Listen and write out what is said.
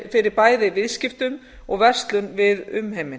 fyrir bæði viðskiptum og verslun við umheiminn